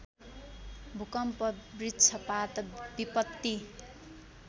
भूकम्प वृक्षपात विपत्ति